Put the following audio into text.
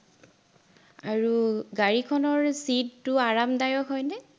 আৰু গাড়ীখনৰ seat টো আৰামদায়ক হয়নে?